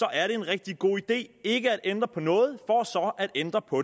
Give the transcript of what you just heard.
er det en rigtig god idé ikke at ændre på noget for så at ændre på